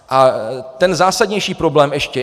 A ten zásadnější problém ještě.